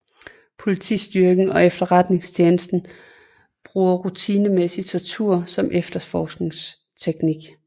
Politistyrken og efterretningstjenesten bruger rutinemæssig tortur som efterforskningsteknik